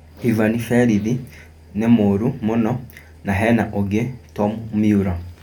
Ivani Berĩthi nĩ mũũru mũno na hena ũngĩ Tom Miura.